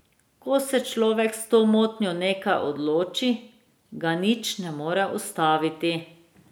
Ko se človek s to motnjo nekaj odloči, ga nič ne more ustaviti.